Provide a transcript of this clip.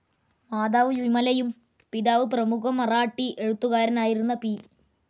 Mother വിമലയും പിതാവ് പ്രമുഖ മറാഠി എഴുത്തുകാരനായിരുന്ന പി.